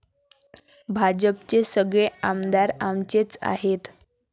भाजपचे सगळे आमदार आमचेच आहेत.